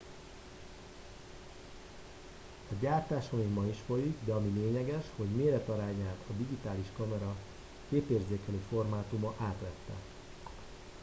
a gyártása még ma is folyik de ami lényeges hogy méretarányát a digitális kamera képérzékelő formátuma átvette